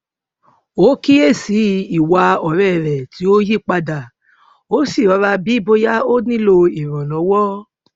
ó kíyè sí i ìwà òré rè tí ó yí padà ó sì rọra bií bóyá ó nílò ìrànlówó